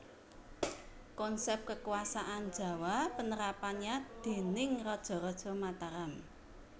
Konsep Kekuasaan Jawa Penerapannya déning Raja raja Mataram